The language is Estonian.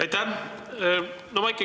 Aitäh!